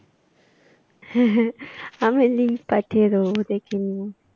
আমি link পাঠিয়ে দেবো দেখে নিয়ো।